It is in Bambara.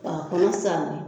K'a Kɔnɔ saani